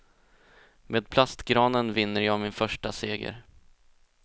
Med plastgranen vinner jag min första seger.